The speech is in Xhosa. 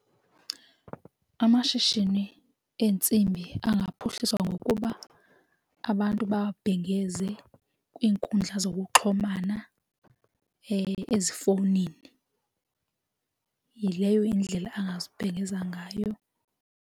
Amashishini eentsimbi engaphuhliswa ngokuba abantu bawabhengeze kwiinkundla zokuxhumana ezifowunini yileyo indlela angazibhengeza ngayo.